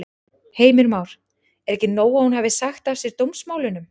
Heimir Már: Er ekki nóg að hún hafi sagt af sér dómsmálunum?